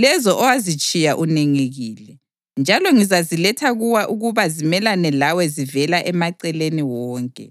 lezo owazitshiya unengekile, njalo ngizaziletha kuwe ukuba zimelane lawe zivela emaceleni wonke,